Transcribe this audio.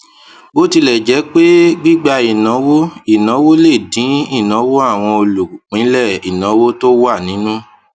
bó tilẹ jẹ pé gbígba ìnáwó ìnáwó lè dín ìnáwó àwọn olùpínlẹ ìnáwó tó wà nínú